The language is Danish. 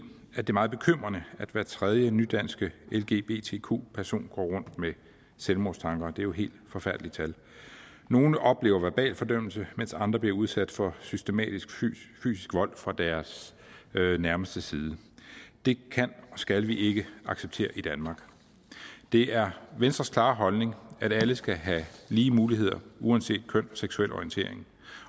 at det er meget bekymrende at hver tredje nydanske lgbtq person går rundt med selvmordstanker det er jo helt forfærdelige tal nogle oplever verbal fordømmelse mens andre bliver udsat for systematisk fysisk vold fra deres nærmestes side det kan og skal vi ikke acceptere i danmark det er venstres klare holdning at alle skal have lige muligheder uanset køn seksuel orientering